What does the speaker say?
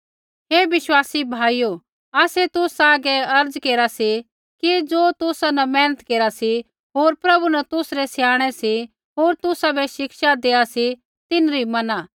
हे विश्वासी भाइयो आसै तुसा हागै अर्ज़ केरा सी कि ज़ो तुसा न मेहनत केरा सी होर प्रभु न तुसरै स्याणै सी होर तुसाबै शिक्षा देआ सी तिन्हरी मैना